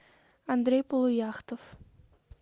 андрей полуяхтов